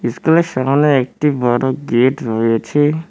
সামনে একটি বড় গেট রয়েছে।